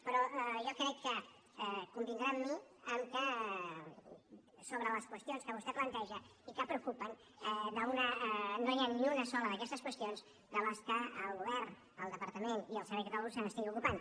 però jo crec que convindrà amb mi que sobre les qüestions que vostè planteja i que preocupen no hi ha ni una sola d’aquestes qüestions de les quals el govern el departament i el servei català de la salut no se n’estigui ocupant